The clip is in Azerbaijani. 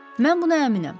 Mən buna əminəm.